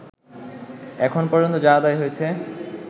এখন পর্যন্ত যা আদায় হয়েছে